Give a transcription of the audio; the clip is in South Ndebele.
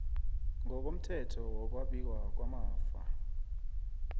ngokomthetho wokwabiwa kwamafa